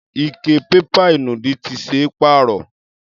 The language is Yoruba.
Ike pépà ìnùdí ti ṣe é pàrọ̀.